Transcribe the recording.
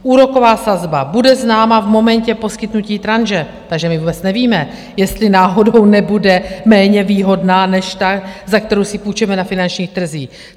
Úroková sazba - bude známa v momentě poskytnutí tranže, takže my vůbec nevíme, jestli náhodou nebude méně výhodná než ta, za kterou si půjčíme na finančních trzích.